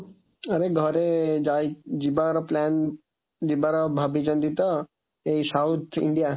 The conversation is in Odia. ଆରେ ଘରେ ଯାଇ ଯିବାର plan ଯିବାର ଭାବିଛନ୍ତି ତ ଏଇ South India